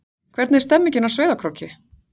Hvernig er stemningin á Sauðárkróki?